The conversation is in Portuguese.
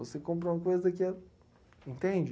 Você compra uma coisa que é... Entende?